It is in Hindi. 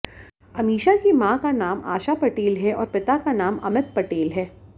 अमीषा की मां का नाम आशा पटेल है और पिता का नाम अमित पटेल है